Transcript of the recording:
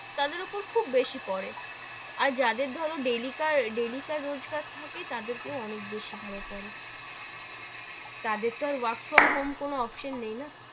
তাদের ওপর খুব বেশি পড়ে, আর যাদের ধরো daily কার রোজকার থাকে তাদের কেউ অনেক বেশি ভাবে পড়ে, তাদের তো work from home কোনো option নেই না,